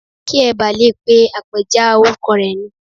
Kí ẹ ba lè pe àpèjá orúkọ rẹ ni.